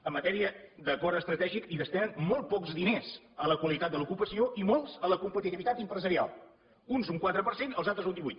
en matèria d’acord estratègic hi destinen molts pocs diners a la qualitat de l’ocupació i molts a la competitivitat empresarial uns un quatre per cent els altres un divuit